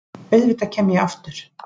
Auðvitað kem ég aftur.